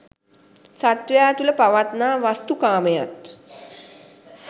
සත්වයා තුළ පවත්නා වස්තු කාමයත්